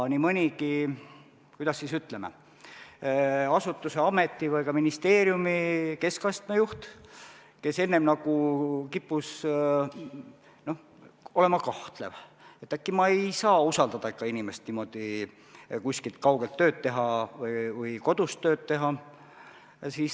Nii mõnigi, kuidas ütleme, asutuse, ameti või ka ministeeriumi keskastme juht kippus enne olema kahtlev, et äkki ma ei saa usaldada ikkagi inimest niimoodi kuskil kaugel tööd tegema või kodus tööd tegema.